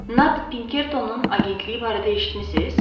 Nat Pinkertonun agentliyi barədə eşitmisiz?